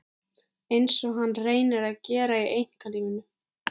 Einsog hann reyni að gera í einkalífinu.